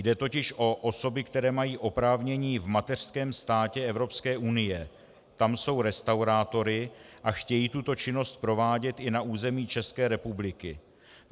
Jde totiž o osoby, které mají oprávnění v mateřském státě Evropské unie, tam jsou restaurátory a chtějí tuto činnost provádět i na území České republiky.